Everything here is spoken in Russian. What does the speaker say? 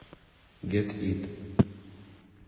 гет ит